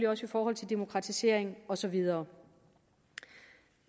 også i forhold til demokratisering og så videre